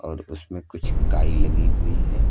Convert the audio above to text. और उसमें कुछ काई लगी हुई है।